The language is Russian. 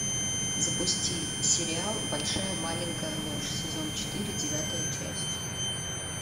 запусти сериал большая маленькая ложь сезон четыре девятая часть